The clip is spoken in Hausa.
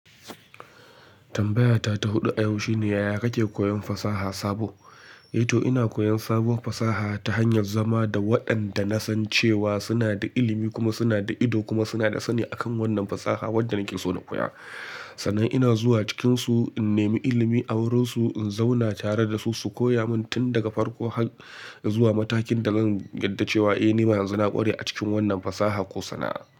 Tambayata ta huɗu a yau shine, yaya kake koyon fasaha sabo? A to ina koyan sabuwar fasaha, ta hanyar zama da waɗanda na san cewa, suna da ilimi, kuma suna da ido, kuma suna da sani, akan wannan fasaha wadda nake so na koya. Sannan ina zuwa cikinsu, in nemi ilimi a wurinsu, in zauna tare da su, su koya min tun daga farko har, zuwa matakin da zan yarda cewa eh ni ma yanzu na ƙware a cikin wannan fasaha ko sana'a.